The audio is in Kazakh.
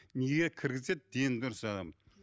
неге кіргізеді дені дұрыс адам